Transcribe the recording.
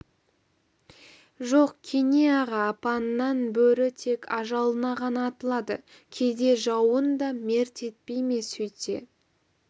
жоқ кене аға апанынан бөрі тек ажалына ғана атылады кейде жауын да мерт етпей ме сөйтсе